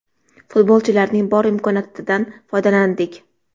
Futbolchilarning bor imkoniyatidan foydalandik.